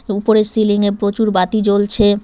উপরের সিলিং -এ প্রচুর বাতি জ্বলছে।